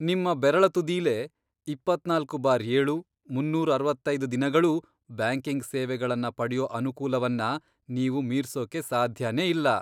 ನಿಮ್ಮ ಬೆರಳ ತುದಿಲೇ ಇಪ್ಪತ್ನಾಲ್ಕು ಬಾರ್ ಏಳು, ಮೂನ್ನೂರ್ ಅರವತ್ತೈದ್ ದಿನಗಳೂ ಬ್ಯಾಂಕಿಂಗ್ ಸೇವೆಗಳನ್ನ ಪಡ್ಯೋ ಅನುಕೂಲವನ್ನ ನೀವು ಮೀರ್ಸೋಕೆ ಸಾಧ್ಯನೇ ಇಲ್ಲ.